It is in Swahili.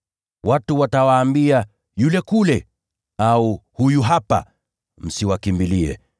Watu watawaambia, ‘Yule kule!’ Au, ‘Huyu hapa!’ Msiwakimbilie.